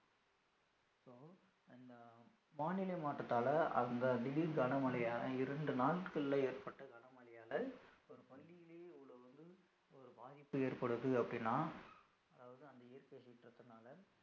வானிலை மாற்றத்தால அந்த திடீர் கனமழையான இரண்டு நாட்கள்ல ஏற்பட்ட கனமழையால